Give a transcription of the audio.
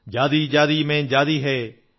ജാതി ജാതി മേം ജാതി ഹൈ